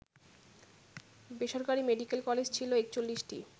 বেসরকারি medical college ছিল ৪১টি